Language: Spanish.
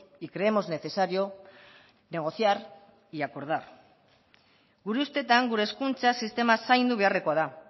y creemos necesario negociar y acordar gure ustetan gure hezkuntza sistema zaindu beharrekoa da